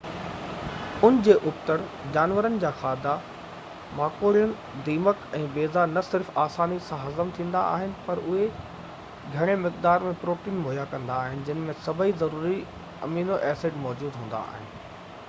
ان جي ابتڙ، جانورن جا کاڌا ماڪوڙيون، دیمڪ، بيضا نه صرف آساني سان هضم ٿيندا آهن، پر اهي گهڻي مقدار ۾ پروٽين مهيا ڪندا آهن، جن ۾ سڀئي ضروري امينو ايسڊ موجود هوندا آهن